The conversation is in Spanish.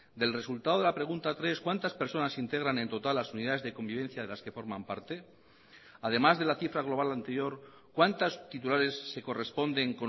del resultado de la pregunta tres cuántas personas integran en total las unidades de convivencia de las que forman parte además de la cifra global anterior cuántos titulares se corresponden